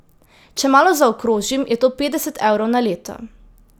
Če malo zaokrožim, je to petdeset evrov na leto.